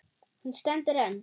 Hún stendur enn.